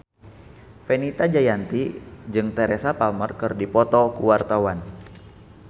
Fenita Jayanti jeung Teresa Palmer keur dipoto ku wartawan